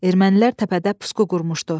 Ermənilər təpədə pusqu qurmuşdu.